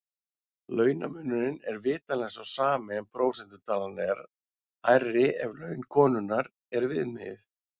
Launamunurinn er vitanlega sá sami en prósentutalan er hærri ef laun konunnar er viðmiðið.